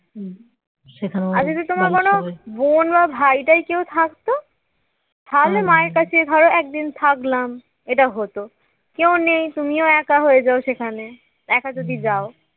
যদি তোমার কোন বোন বা ভাই টাই থাকতো তাহলে মার কাছে একদিন থাকলাম এটা হতো । কেউ নেই তুমিও একা হয়ে যাও সেখানে একা যদি যাও